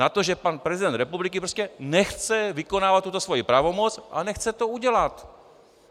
Na to, že pan prezident republiky prostě nechce vykonávat tuto svoji pravomoc a nechce to udělat!